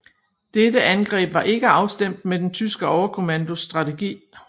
Dette angreb var ikke afstemt med den tyske overkommandos strategi